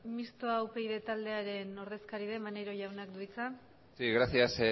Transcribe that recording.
mistoa upyd taldearen ordezkari den maneiro jaunak du hitza sí gracias